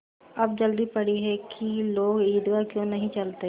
अब जल्दी पड़ी है कि लोग ईदगाह क्यों नहीं चलते